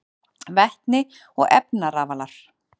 Vetni og efnarafalar: